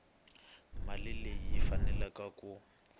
mali leyi yi faneleke ku